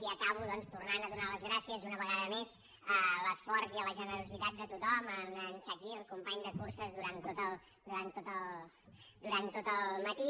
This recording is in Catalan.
i acabo doncs tornant a donar les gràcies una vegada més a l’esforç i a la generositat de tothom a en chakir company de curses durant tot el matí